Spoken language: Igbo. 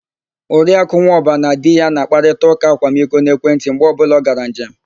Oriakụ Nwọba na di ya na-akparịta ụ́kà akwamiko n'ekwentị mgbe ọbụla ọ gara njem.